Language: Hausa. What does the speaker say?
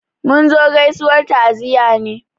Mun zo gaizuwar ta'ziyya ne